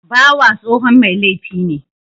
Bawa tsohon mai laifi ne